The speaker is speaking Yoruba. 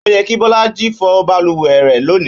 Ó yẹ kí Bọ́lájí fọ balùwẹ̀ rẹ̀ lónìí